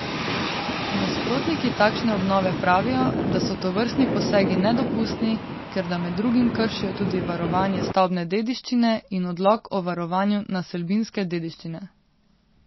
Nasprotniki takšne obnove pravijo, da so tovrstni posegi nedopustni, ker da med drugim kršijo tudi varovanje stavbne dediščine in odlok o varovanju naselbinske dediščine.